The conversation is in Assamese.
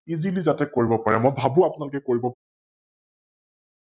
Esaly যাতে কৰিব পাৰে ম ই ভাবো আপোনালোকে কৰিব